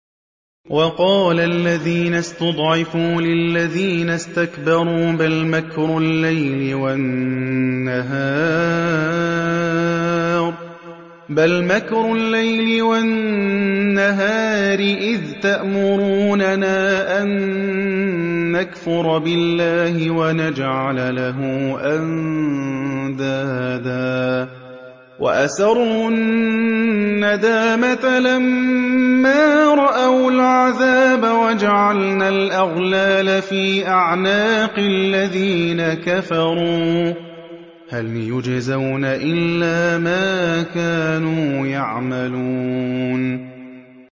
وَقَالَ الَّذِينَ اسْتُضْعِفُوا لِلَّذِينَ اسْتَكْبَرُوا بَلْ مَكْرُ اللَّيْلِ وَالنَّهَارِ إِذْ تَأْمُرُونَنَا أَن نَّكْفُرَ بِاللَّهِ وَنَجْعَلَ لَهُ أَندَادًا ۚ وَأَسَرُّوا النَّدَامَةَ لَمَّا رَأَوُا الْعَذَابَ وَجَعَلْنَا الْأَغْلَالَ فِي أَعْنَاقِ الَّذِينَ كَفَرُوا ۚ هَلْ يُجْزَوْنَ إِلَّا مَا كَانُوا يَعْمَلُونَ